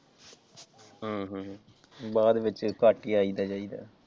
ਹਮ ਹਮ ਬਾਅਦ ਵਿਚ ਘੱਟ ਹੀ ਆਈਦਾ ਜਾਇਦਾ।